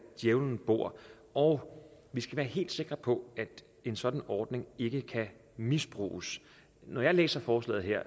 djævlen bor og vi skal være helt sikre på at en sådan ordning ikke kan misbruges når jeg læser forslaget her